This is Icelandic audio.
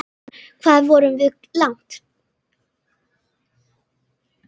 Hvað vorum við komin langt?